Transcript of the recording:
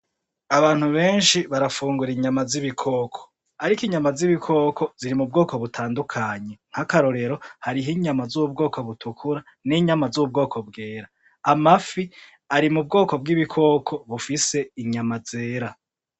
Abantu benshi barafungura inyama z'ibikoko ariko inyama z'ibikoko ziri mu bwoko butandukanye nk'akarorero hariho inyama z'ubwoko butukura n' inyama z'ubwoko bwera, amafi ari mu bwoko bw'ibikoka bifise inyama zera.